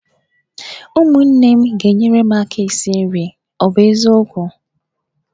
Ụmụnne m ga-enyere m aka esi nri, ọ bụ eziokwu?